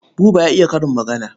Buba ya iya karin magana.